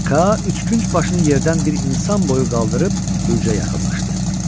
Ka üçkünc başını yerdən bir insan boyu qaldırıb bürcə yaxınlaşdı.